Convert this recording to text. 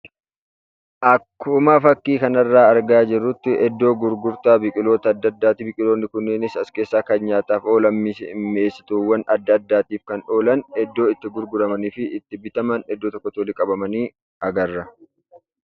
Akkuma fakkii kanarraa argaa jirrutti iddoo gurgurtaa biqiloota adda addaati, biqiloonni kunis as keessaa kan nyaataaf oolanii fi mi'eessituuwwan adda addaatiif kan oolan iddoo itti gurguramanii fi bitaman agarra.